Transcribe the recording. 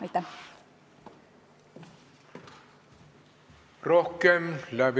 Aitäh!